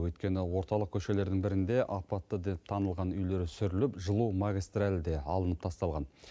өйткені орталық көшелердің бірінде апатты деп танылған үйлер сүріліп жылу магистралі де алынып тасталған